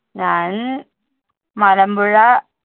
ഞാൻ അഹ് മലമ്പുഴ